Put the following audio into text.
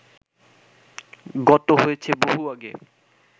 গত হয়েছে বহু আগে